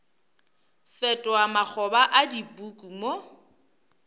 fetoga makgoba a dipuku mo